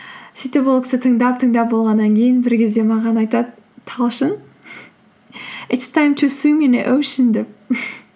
сөйтіп ол кісі тыңдап тыңдап болғаннан кейін бір кезде маған айтады талшын итс тайм ту суим ин э оушн деп